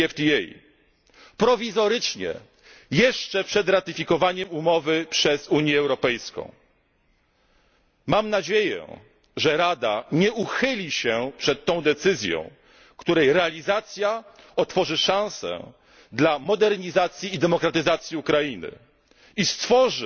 tzw. DCFTA prowizorycznie, jeszcze przed ratyfikowaniem umowy przez Unię Europejską. Mam nadzieję, że Rada nie uchyli się przed tą decyzją, której realizacja otworzy szansę dla modernizacji i demokratyzacji Ukrainy